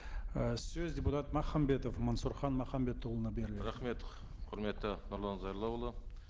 ы сөз депутат махамбетов мансұрхан махамбетұлына беріледі рахмет құрметті нұрлан зайроллаұлы